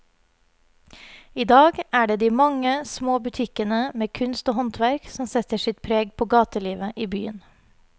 I dag er det de mange små butikkene med kunst og håndverk som setter sitt preg på gatelivet i byen.